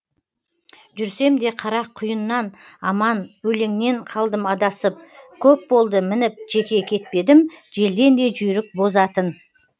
жүрсем де қара құйыннан аман өлеңнен қалдым адасып көп болды мініп жеке кетпедім желден де жүйрік боз атын